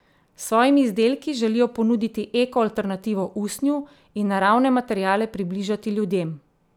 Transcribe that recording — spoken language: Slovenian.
S svojimi izdelki želijo ponuditi eko alternativo usnju in naravne materiale približati ljudem.